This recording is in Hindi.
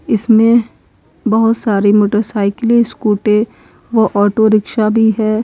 इसमें बहुत सारी मोटरसाइकिलें स्कूटी व ऑटो रिक्शा भी है।